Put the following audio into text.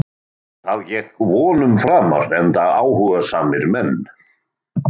Það gekk vonum framar enda áhugasamir menn.